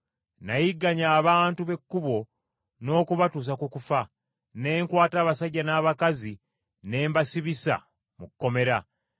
Nayigganya abantu b’Ekkubo n’okubatuusa ku kufa, ne nkwata abasajja n’abakazi ne mbasibisa mu kkomera.